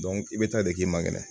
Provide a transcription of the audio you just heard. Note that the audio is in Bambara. i bɛ taa de k'i man kɛnɛ